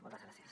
moltes gràcies